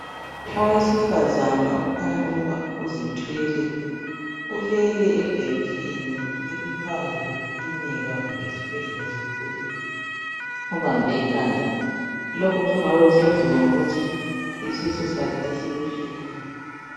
Owesifazana okhanya ukuba uzithwele ,ulele ebhentshini eliphandle kwekilinika kumbe esibhedlela esikhulu ubambe ikhanda, lokhu sokungabe kusenziwa ngokuthi isisu sakhe sesibuhlungu.